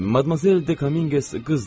Madmazel De Kominqes qızdır.